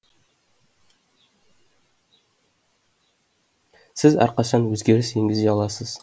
сіз әрқашан өзгеріс енгізе аласыз